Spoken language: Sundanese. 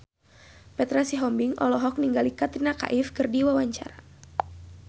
Petra Sihombing olohok ningali Katrina Kaif keur diwawancara